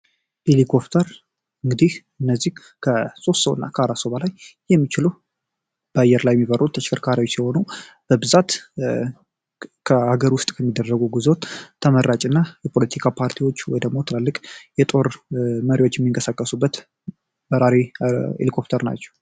ሄሊኮፕተር ከሦስት ሰው ወይም ከአራት ሰው በላይ መያዝ የሚችሉ በአየር ላይ የሚበሩ ተሽከርካሪዎች የሆኑ በተለይ ለሀገር ውስጥ ለሚደረጉ ጉዞ ተመራጭና የፖለቲካ ፓርቲዎች ወይም ትላልቅ የጦር አዛዦች የሚንቀሳቀሱበት በራሪ ሄሊኮፕተር ናቸው።